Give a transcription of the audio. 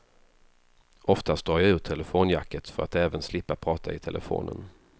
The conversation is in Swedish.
Oftast drar jag ur telefonjacket för att även slippa prata i telefonen.